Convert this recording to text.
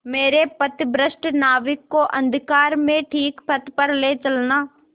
मेरे पथभ्रष्ट नाविक को अंधकार में ठीक पथ पर ले चलना